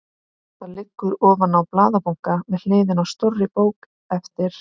Það liggur ofan á blaðabunka við hliðina á stórri bók eftir